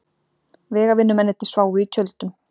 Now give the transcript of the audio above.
Vegavinnumennirnir sváfu í tjöldum.